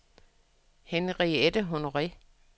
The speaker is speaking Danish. Henriette Honore